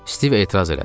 Stiv etiraz elədi.